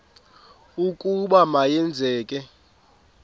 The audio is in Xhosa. ukuba ma yenzeke